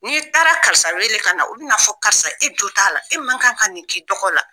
N'i taara karisa wele ka na u bɛn'a fɔ karisa e jo t'a la e man kan ka nin k'i dɔgɔ la